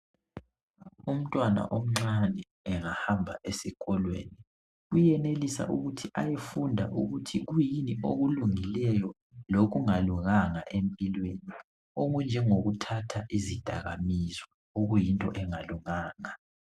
Umntwana omncane engahamba esikolweni uyenelisa ukuthi ayefunda ukuthi kuyini okulungileyo lokungalunganga empilweni okunje ngokuthatha izidakamizwa okuyinto engalunganga.